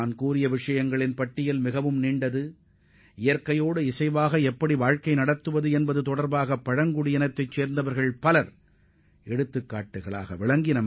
நான் இதுவரையிலும் குறிப்பிட்டவை தவிர இயற்கையுடன் எவ்வாறு ஒத்துவாழ்வது என்பது பற்றி நமக்கு போதித்த பழங்குடியின சமுதாயங்கள் ஏராளமானவற்றை பட்டியலிட முடியும்